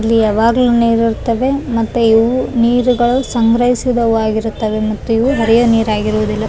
ಇಲ್ಲಿ ಯಾವಾಗ್ಲು ನೀರಿರ್ತಾವೆ ಮತ್ತ ಇವು ನೀರುಗಳು ಸಂಗ್ರಹಿಸಿದವು ಆಗಿರ್ತಾವೆ ಮತ್ತೆ ಇವು ಹೊರೆಯ ನೀರಾಗಿರುವುದಿಲ್ಲ.